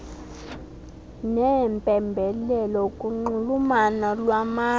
neempembelelo kunxulumano lwamazwe